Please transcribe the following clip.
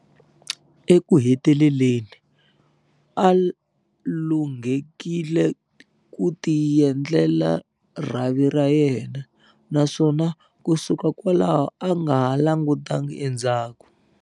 Eku heteleleni, a lunghekile ku tiendlela rhavi ra yena, na swona kusuka kwalaho a nga ha langutangi endzhaku.